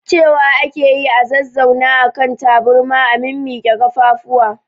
Cewa ake yi a zazzauna a kan taburma a mimmiƙwe kafafu